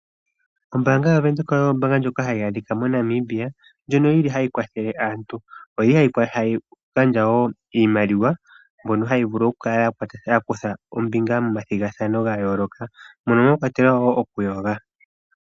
Ombaanga yaVenduka oyo ombaanga ndjoka hayi adhika moNamibia, ndjoka yi li hayi kwathele aantu. Oyi li hayi gandja wo iimaliwa yamboka haya vulu okukutha ombinga momathigathano gayooloka, ongaashi okuyoga.